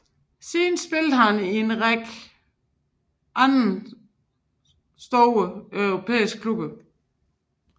Siden spillede han i en række andre store europæiske klubber